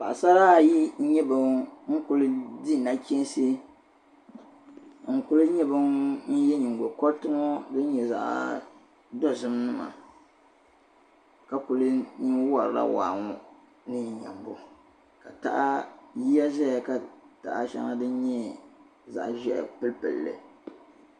paɣasara ayi n nye ban ku di nachiinsi n kuli ye bin' din nye ningo goriti zaɣ' dozim maala kuli wari la waa ŋɔ ni nyi nyambo ka taɣa ka yiya zaya ka yaɣ'a pili pili